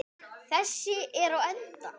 Þessi er á enda.